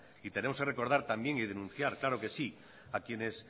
y tenemos que recordar también y denunciar claro que sí a quienes